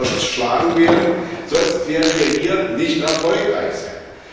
Die müssen zerschlagen werden, sonst werden wir hier nicht erfolgreich sein.